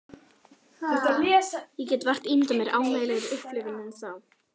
Ég get vart ímyndað mér ánægjulegri upplifun en þá.